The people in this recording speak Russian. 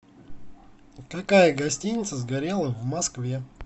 какая гостиница сгорела в москве